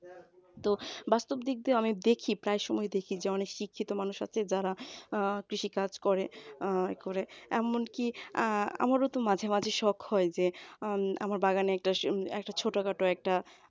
তো বাস্তব দিক দিয়ে আমি দেখি প্রায় সময় দেখি শিক্ষিত মানুষ আছে যারা কৃষি কাজ করে আহ করে এমনকি আহ আমারও তো মাঝে মাঝে শখ হয় যে আমার বাগানেতে একটা ছোটখাটো একটা